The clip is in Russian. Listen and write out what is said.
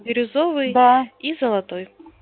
бирюзовый да и золотой